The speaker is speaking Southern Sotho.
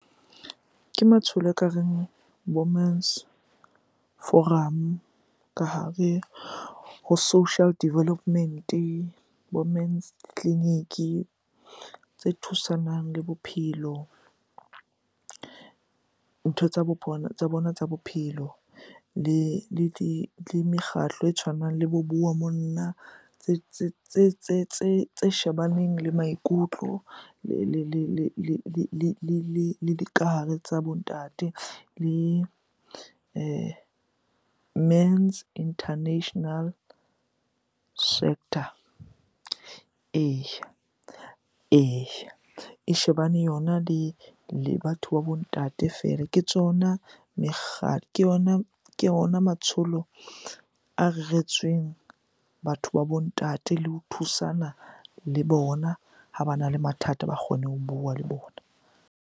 Ke matsholo ekareng forum ka hare ho social development-e, bo men's clinic, tse thusanang le bophelo, ntho tsa bona tsa bona tsa bophelo. Le di, le mekgatlo e tshwanang le bo bua monna tse shebaneng le maikutlo le dikahare tsa bo ntate le men's international sector, eya, eya. E shebane yona le batho ba bo ntate. Ke tsona ke ona matsholo a reretsweng batho ba bo ntate le ho thusana le bona ha bana le mathata ba kgone ho bua le bona.